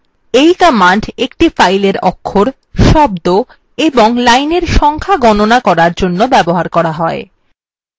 এই command একটি file অক্ষর শব্দ এবং lines সংখ্যা গণনা করার জন্য ব্যবহার করা হয়